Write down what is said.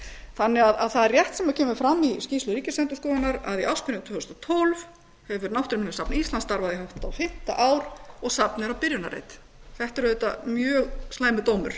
þannig að það er rétt sem kemur fram í skýrslu ríkisendurskoðunar að í ársbyrjun tvö þúsund og tólf hefur náttúruminjasafn íslands starfað í hátt á fimmta ár og safnið er á byrjunarreit þetta er auðvitað mjög slæmur dómur